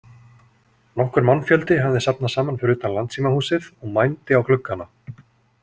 Nokkur mannfjöldi hafði safnast saman fyrir utan Landssímahúsið og mændi á gluggana.